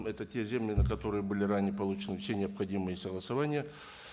это те земли на которые были ранее получены все необходимые согласования